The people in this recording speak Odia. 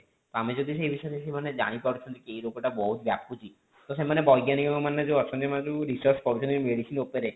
ଆମେ ଯଦି ସେଇ ବିଷୟରେ ସେମାନେ ଜାଣି ପାରୁଛନ୍ତି କି ଏଇ ରୋଗ ଟା ବହୁତ ବ୍ୟାପୁଛି ତ ସେମାନେ ବୈଜ୍ଞାନିକ ମାନେ ଯେଉଁ ଅଛନ୍ତି ସେମାନେ ଯଉ research କରୁଛନ୍ତି ସବୁ medicine ଉପରେ